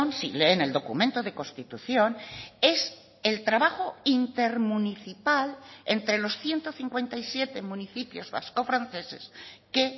si leen el documento de constitución es el trabajo intermunicipal entre los ciento cincuenta y siete municipios vascofranceses que